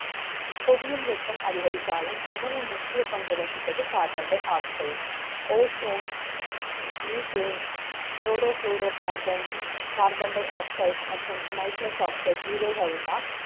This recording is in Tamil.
புவியின் வெ ப்பம் அதிகரித்தாலும், மிகவும் முக்கிய பங்கு வகிப்பது. carbon dioxideOzone, methane, chloroflocarbon, carbon dioxide மற்றும் nitroxoxide இவை கள்தான்